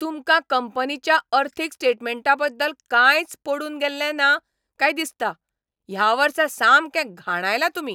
तुमकां कंपनीच्या अर्थीक स्टेटमँटा बद्दल कांयच पडून गेल्लें ना काय दिसता. ह्या वर्सा सामकें घाणायलां तुमी.